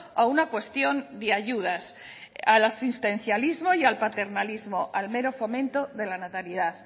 a una cuestión de ayudas al asistencialismo y al paternalismo al mero fomento de la natalidad